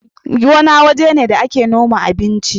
Gona waje ne da ake noma abinci